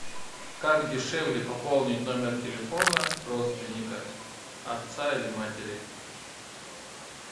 как дешевле пополнить номер телефона родственника отца или матери